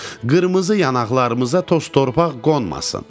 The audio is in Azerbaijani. Qırmızı yanaqlarımıza toz-torpaq qonmasın.